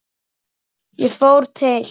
Ég fór til